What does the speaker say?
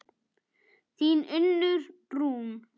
Þín Unnur Rún.